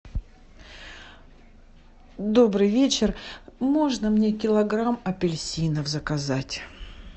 добрый вечер можно мне килограмм апельсинов заказать